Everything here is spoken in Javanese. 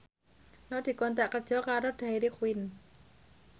Nur dikontrak kerja karo Dairy Queen